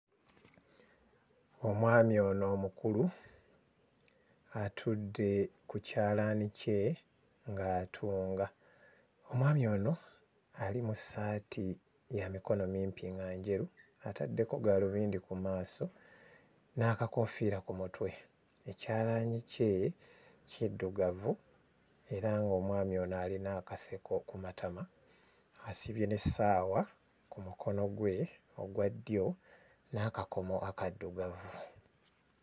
Omwami ono omukulu atudde ku kyalaani kye ng'atunga, omwami ono ali mu ssaati ya mikono mimpi nga njeru, ataddeko gaalubindi ku maaso n'akakoofiira ku mutwe, ekyalaani kye kiddugavu era ng'omwami ono alina akaseko ku matama asibye n'essaawa ku mukono gwe ogwa ddyo n'akakomo akaddugavu.